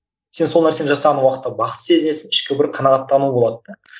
сен сол нәрсені жасаған уақытта бақытты сезінесің ішкі бір қанағаттану болады да